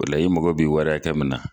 O la i mago bi wari hakɛ min na.